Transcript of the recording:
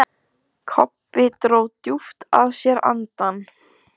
Kobbi dró djúpt að sér andann.